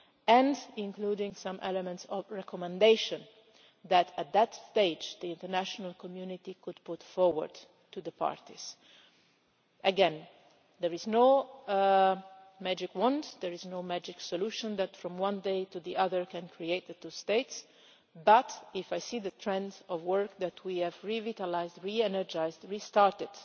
and including some elements of recommendation that, at that stage, the international community could put forward to the parties. Again, there is no magic wand and there is no magic solution that from one day to the next can create the two states but, when I see the trend of work that we have revitalised, re energised, restarted